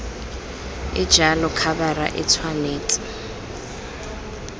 e jalo khabara e tshwanetse